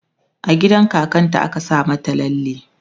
a gidan kakan ta a ka Saka mata lalle